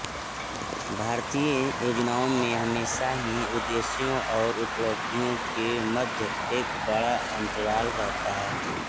भारतीय योजनाओं में हमेशा ही उद्देश्यों और उपलब्धियों के मध्य एक बड़ा अन्तराल रहता है